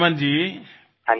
Ripudaman ji